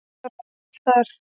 Ég þjálfaði aðeins þar.